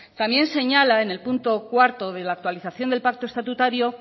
también señala en el punto cuarto de la actualización del pacto estatutario